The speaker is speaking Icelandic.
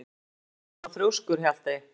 Af hverju ertu svona þrjóskur, Hjaltey?